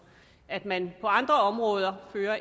at man på andre områder fører